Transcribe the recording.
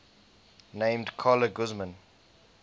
named carla guzman